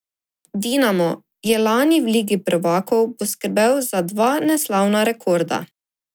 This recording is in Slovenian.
Dinamo je lani v Ligi prvakov poskrbel za dva neslavna rekorda.